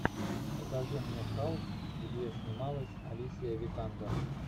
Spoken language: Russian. покажи мне халк где снималась алисия викандер